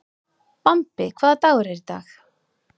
Bambi, hvaða dagur er í dag?